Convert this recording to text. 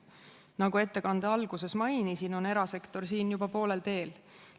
Nagu ettekande alguses mainisin, on erasektor siin juba poolel teel.